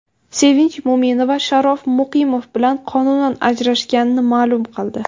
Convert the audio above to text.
Sevinch Mo‘minova Sharof Muqimov bilan qonunan ajrashganini ma’lum qildi.